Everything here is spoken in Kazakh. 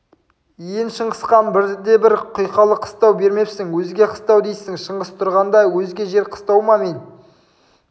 ен шыңғыстан бірде-бір құйқалы қыстау бермепсің өзге қыстау дейсің шыңғыс тұрғанда өзге жер қыстау ма мен